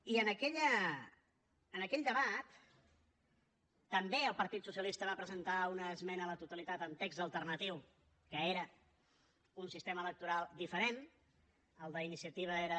i en aquell debat també el partit socialista va presentar una esmena a la totalitat amb text alternatiu que era un sistema electoral diferent el d’iniciativa era